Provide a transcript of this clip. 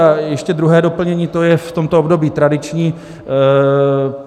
A ještě druhé doplnění, to je v tomto období tradiční.